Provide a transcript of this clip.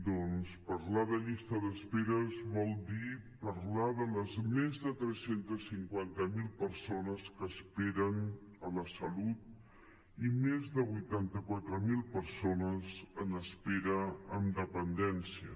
doncs parlar de llistes d’espera vol dir parlar de les més de tres cents i cinquanta miler persones que esperen a la salut i més de vuitanta quatre mil persones en espera en dependència